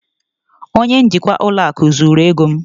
onye njikwa ụlọ akụ zuru ego m